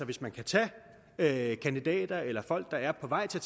hvis man kan tage tage kandidater eller folk der er på vej til